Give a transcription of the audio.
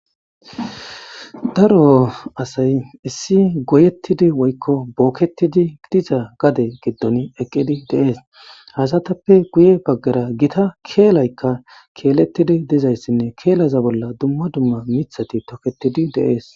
Daro asay issi goyettidi woykko bookettidi diza gade giddoni eqqidi de7ees. Ha asatappe guye baggara gita keelaykka keelettidi dizayssinne keelaza bolla dumma dumma mithati tokettidi de7ees.